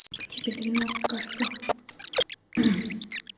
тебе двенадцать кажется